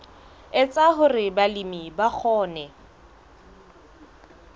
etsa hore balemi ba kgone